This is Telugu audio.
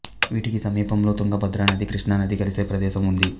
వీటికి సమీపంలో తుంగభద్ర నది కృష్ణ నది కలిసే ప్రదేశం ఉంది